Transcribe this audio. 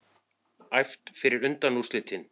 Æft fyrir undanúrslitin